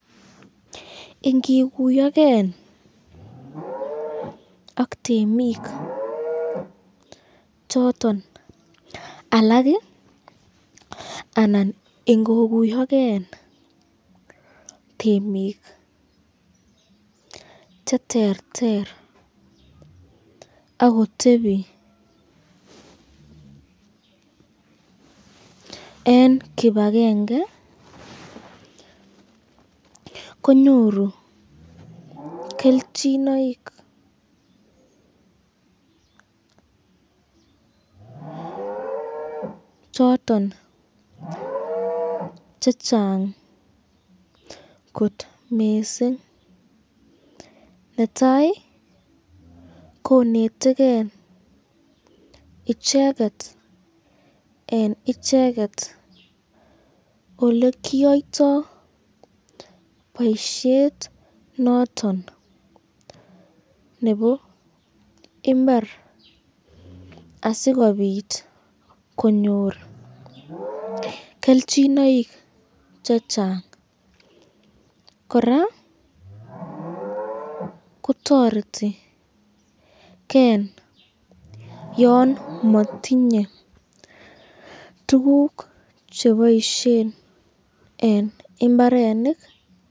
Ingikuyoken ak temik choton alak alan ingikuyoken temik cheterter akotepi eng kipakenge, konyoru kelchinoik choton chechang kot missing, netai koneteken icheket eng icheket olekiyoiyto boishet noton nebo imbar asikobit konyor kelchinoik chengang, koraa ko toretiken yon matinye tukuk cheboisyen eng imbarenik.